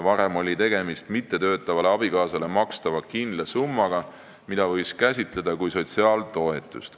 Varem oli tegemist mittetöötavale abikaasale makstava kindla summaga, mida võis käsitleda kui sotsiaaltoetust.